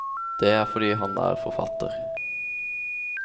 Det er fordi han er forfatter.